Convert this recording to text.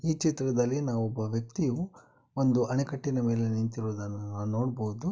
ಈ ಚಿತ್ರದಲ್ಲಿ ನಾವು ಒಬ್ಬ ವ್ಯಕ್ತಿಯು ಒಂದು ಅಣೆಕಟ್ಟಿನ ಮೇಲೆ ನಿಂತಿರುವುದನ್ನು ನಾವು ನೋಡ್ಬೋದು.